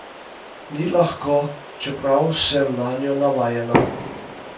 Ni lahko, čeprav sem nanjo navajena.